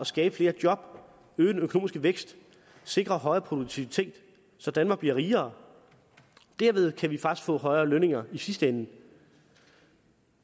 skabe flere job øge den økonomiske vækst sikre højere produktivitet så danmark bliver rigere derved kan vi faktisk få højere lønninger i sidste ende